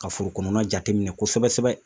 Ka foro kɔnɔna jate minɛ kosɛbɛ sɛbɛ